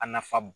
A nafa